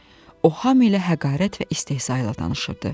O hamı ilə həqarət və istehza ilə danışırdı.